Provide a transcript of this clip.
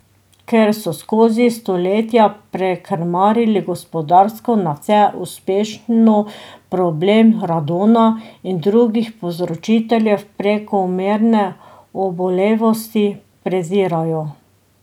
Ker so skozi stoletja prekrmarili gospodarsko nadvse uspešno, problem radona in drugih povzročiteljev prekomerne obolevnosti prezirajo.